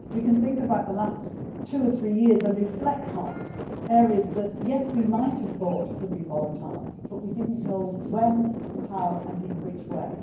We can think about the last two or three years and reflect on areas that, yes, we might have thought could be volatile, but we did not know when and how and in which way.